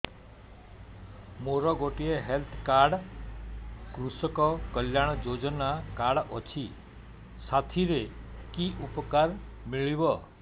ମୋର ଗୋଟିଏ health card କୃଷକ କଲ୍ୟାଣ ଯୋଜନା କାର୍ଡ ଅଛି ସାଥିରେ କି ଉପକାର ମିଳିବ